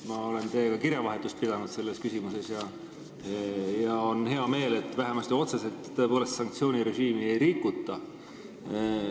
Ma olen teiega selles küsimuses kirjavahetust pidanud ja on hea meel, et vähemasti otseselt sanktsioonirežiimi tõepoolest ei rikuta.